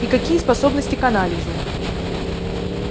и какие способности к анализу